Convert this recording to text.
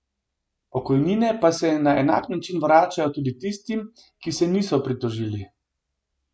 Pokojnine pa se na enak način vračajo tudi tistim, ki se niso pritožili.